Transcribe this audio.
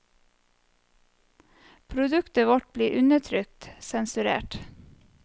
Produktet vårt ble undertrykt, sensurert.